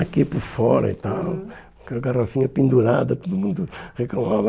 Aqui por fora e tal, uhum, com a garrafinha pendurada, todo mundo reclamava.